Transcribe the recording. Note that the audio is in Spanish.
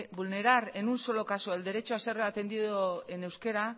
vulnerar en un solo caso el derecho a ser atendido en euskera